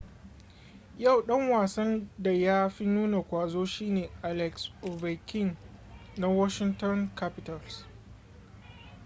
yau dan wasan da ya fi nuna ƙwazo shi ne alex ovechkin na washinton capitals